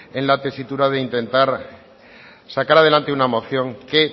en la tesitura de intentar sacar adelante una moción que